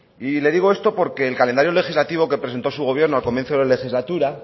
y le digo esto porque el calendario legislativo que presentó su gobierno al comienza de la legislatura